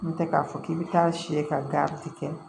N'o tɛ k'a fɔ k'i bɛ taa si ka garidi kɛ